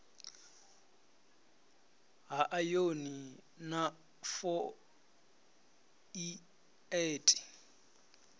ha ayoni na fo ieti